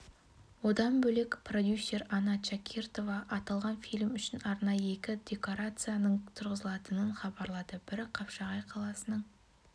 одан бөлек продюсер анна чакиртова аталған фильм үшін арнайы екі декорацияның тұрғызылатынын хабарлады бірі қапшығай қаласының